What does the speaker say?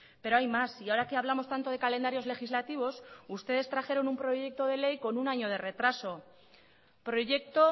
pero hay más y ahora que hablamos tanto de calendarios legislativos ustedes trajeron un proyecto de ley con un año de retraso proyecto